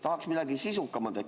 " Tahaks midagi sisukamat.